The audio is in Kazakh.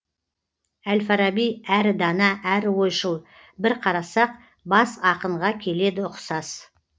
әл фараби әрі дана әрі ойшыл бір қарасақ бас ақынға келеді ұқсас